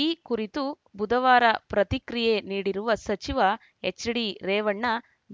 ಈ ಕುರಿತು ಬುಧವಾರ ಪ್ರತಿಕ್ರಿಯೆ ನೀಡಿರುವ ಸಚಿವ ಎಚ್‌ಡಿರೇವಣ್ಣ